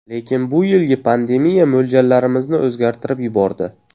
Lekin bu yilgi pandemiya mo‘ljallarimizni o‘zgartirib yubordi.